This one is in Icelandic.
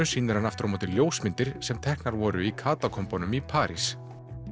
sýnir hann aftur á móti ljósmyndir sem teknar voru í Katakombunum í París